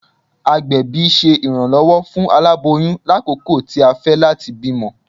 Agbẹbi ṣe iranlọwọ fun alaboyun lakoko ti a fẹ lati bimọ.